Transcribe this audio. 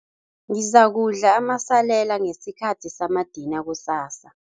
Ngizakudla amasalela ngesikhathi samadina kusasa.